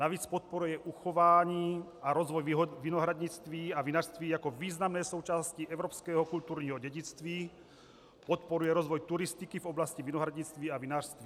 Navíc podporuje uchování a rozvoj vinohradnictví a vinařství jako významné součásti evropského kulturního dědictví, podporuje rozvoj turistiky v oblasti vinohradnictví a vinařství.